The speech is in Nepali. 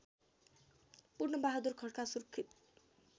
पूर्णबहादुर खड्का सुर्खेत